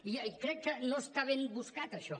i crec que no està ben buscat això